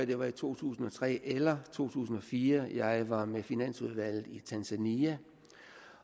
det var i to tusind og tre eller to tusind og fire jeg var med finansudvalget i tanzania